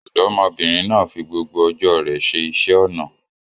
Òdómọbínrin naa fí gbogbo ojo re se isé onà